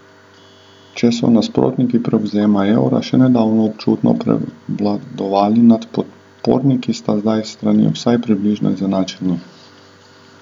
Če so nasprotniki prevzema evra še nedavno občutno prevladovali nad podporniki, sta zdaj strani vsaj približno izenačeni.